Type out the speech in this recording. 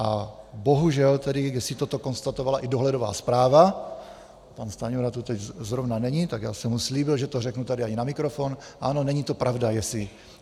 A bohužel tedy, jestli toto konstatovala i dohledová zpráva - pan Stanjura tu teď zrovna není, tak já jsem mu slíbil, že to řeknu tady i na mikrofon - ano, není to pravda.